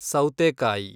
ಸೌತೆಕಾಯಿ